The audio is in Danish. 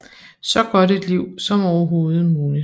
Så godt et liv som overhovedet muligt